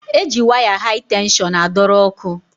E ji waya hai tenshọn a dọrọ ọkụ.